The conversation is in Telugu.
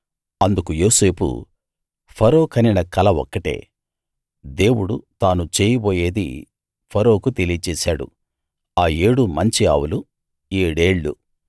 అందుకు యోసేపు ఫరో కనిన కల ఒక్కటే దేవుడు తాను చేయబోయేది ఫరోకు తెలియచేశాడు ఆ ఏడు మంచి ఆవులు ఏడేళ్ళు